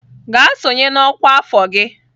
Gaa sonye na ọkwa afọ gị!